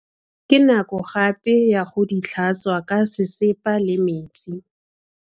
Ke nako gape ya go di tlhatswa ka sesepa le metsi.